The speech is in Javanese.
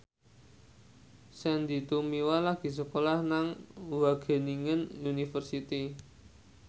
Sandy Tumiwa lagi sekolah nang Wageningen University